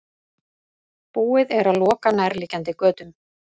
Búið er að loka nærliggjandi götum